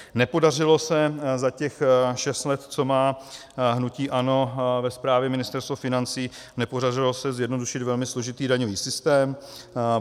Nepodařilo se za těch šest let, co má hnutí ANO ve správě Ministerstvo financí, nepodařilo se zjednodušit velmi složitý daňový systém.